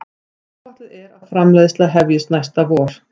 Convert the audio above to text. Áætlað er framleiðsla hefjist næsta vor